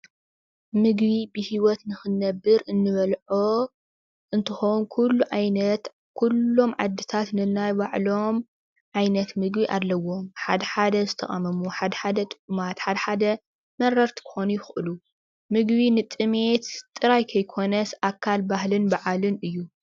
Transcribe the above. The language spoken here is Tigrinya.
ምግቢ ብሂወት ንኽንነብር እንበልዖ እንትኾን ኩሎም ዓይነታት ኩሎም ዓድታት ነናይ ባዕሎም ዓይነት ምግቢ ኣለዎም። ሓደ ሓደ ዝተቃመሙ፣ ሓደ ሓደ ጥዑማት ፣ ሓደ ሓደ መረርቲ ክኾኑ ይኽእሉ። ምግቢ ንጥምየት ጥራይ ከይኮነስ ኣካል ባህልን በዓልን እዩ።